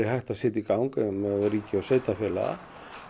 að setja í gang meðal ríki og sveitarfélaga